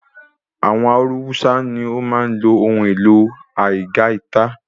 Àwọn Hausa ní o máa n lo ohun ìpe aigaita